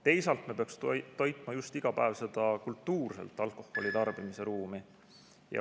Teisalt, me peaksime toitma iga päev just seda kultuurselt alkoholi tarbimise ruumi.